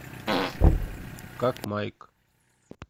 как майк